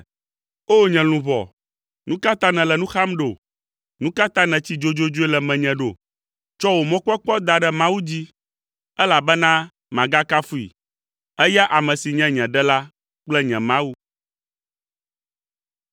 O! Nye luʋɔ, nu ka ta nèle nu xam ɖo? Nu ka ta nètsi dzodzodzoe le menye ɖo? Tsɔ wò mɔkpɔkpɔ da ɖe Mawu dzi, elabena magakafui, eya ame si nye nye Ɖela kple nye Mawu.